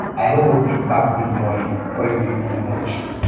i no go fit baff dis morning cold dey too much